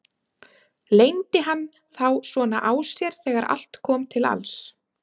Leyndi hann þá svona á sér þegar allt kom til alls?